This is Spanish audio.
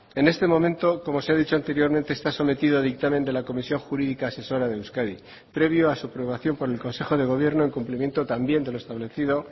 en este momento como se ha dicho anteriormente está sometido a dictamen de la comisión jurídica asesora de euskadi previo a su aprobación por el consejo de gobierno en cumplimiento también de lo establecido